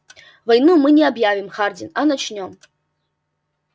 войну мы не объявим хардин а начнём